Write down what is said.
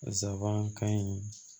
Nsabankan in